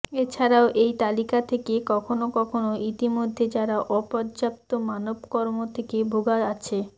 এছাড়াও এই তালিকা থেকে কখনও কখনও ইতিমধ্যে যারা অপর্যাপ্ত মানব কর্ম থেকে ভোগা আছে